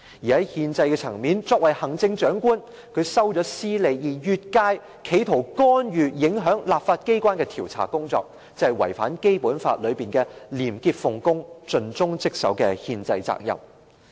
在憲制層面，作為行政長官，他收取私利，並越界企圖干預、影響立法機關的調查工作，便是違反《基本法》規定的廉潔奉公、盡忠職守的憲制責任。